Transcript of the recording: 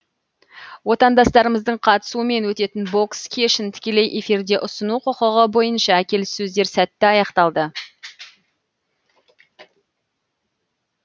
отандастарымыздың қатысуымен өтетін бокс кешін тікелей эфирде ұсыну құқығы бойынша келіссөздер сәтті аяқталды